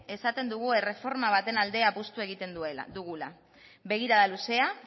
esaten dugu erreforma batean aldeko apustua egiten dugula begirada luzea